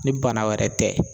Ni bana wɛrɛ tɛ